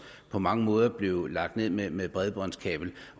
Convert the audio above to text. på mange måder er blevet lagt ned ned med bredbåndskabel